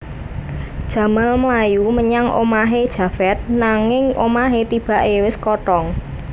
Jamal mlayu menyang omahé Javed nanging omahé tibaké wis kothong